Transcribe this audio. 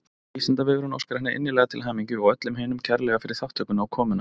Vísindavefurinn óskar henni innilega til hamingju og öllum hinum kærlega fyrir þátttökuna og komuna.